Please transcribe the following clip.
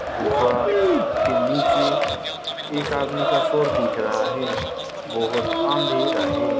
गुफा के नीचे एक आदमी का सर दिख रहा है बहोत अंधेरा है।